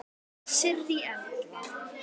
Sirrý Erla.